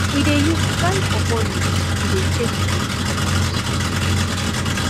we dey use dry pawpaw leaves to dey chase goat comot